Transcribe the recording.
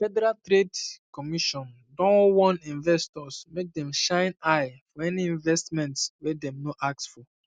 federal trade commission don um warn investors make dem shine um eye for any investment wey dem um no ask for